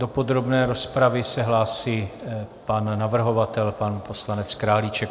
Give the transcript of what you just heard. Do podrobné rozpravy se hlásí pan navrhovatel, pan poslanec Králíček.